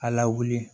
A lawuli